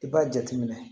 I b'a jateminɛ